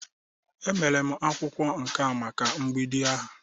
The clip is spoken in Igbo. E mere m akwụkwọ nká maka mgbidi ahụ.